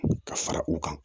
Ka fara u kan